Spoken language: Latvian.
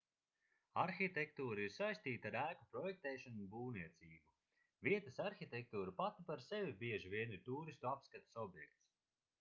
arhitektūra ir saistīta ar ēku projektēšanu un būvniecību vietas arhitektūra pati par sevi bieži vien ir tūristu apskates objekts